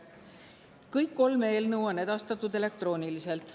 Kõik kolm eelnõu on edastatud elektrooniliselt.